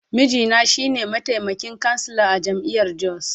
Mijina shi ne mataimakin kansila a jami’ar Jos.